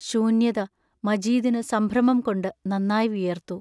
ശൂന്യത മജീദിനു സംഭ്രമംകൊണ്ടു നന്നായി വിയർത്തു.